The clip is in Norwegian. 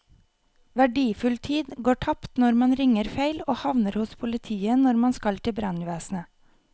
Verdifull tid går tapt når man ringer feil og havner hos politiet når man skal til brannvesenet.